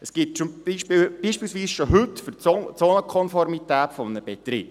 Dies gibt es beispielsweise schon heute bei der Frage der Zonenkonformität eines Betriebs.